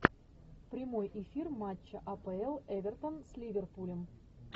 прямой эфир матча апл эвертон с ливерпулем